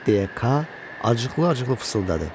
deyə K acıqlı-acıqlı pısıldadı.